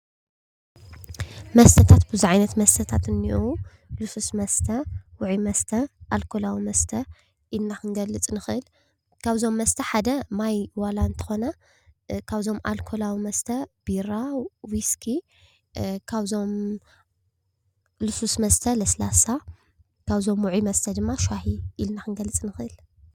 መስተታት ቡዝሕ ዓይነት መስተታት እኒእዉ ልሱሉሱ መስተ ፣ዉዑይ መስተ፣ ኣልኮላዊ መስተ ኢልና ክንገልፅ ንክእል ካብዞሞ መስተ ሓደ ማይ ዋላ እንተ ኮነ ካብዞሞ ኣልኮላዊ መስተ ቢራ፣ ዊስኪ ሉሱሉስ መስተ ለስላሳ ካብ ዉዒ መስተ ድማ ሻሂ ኢልና ክንገልፅ ንክእል፡፡